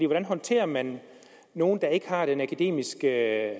hvordan håndterer man nogle der ikke har den akademiske